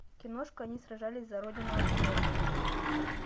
киношка они сражались за родину открой